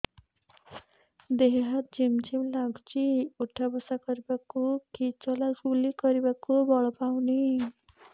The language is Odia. ଦେହେ ହାତ ଝିମ୍ ଝିମ୍ ଲାଗୁଚି ଉଠା ବସା କରିବାକୁ କି ଚଲା ବୁଲା କରିବାକୁ ବଳ ପାଉନି